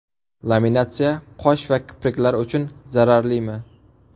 Laminatsiya qosh va kipriklar uchun zararlimi?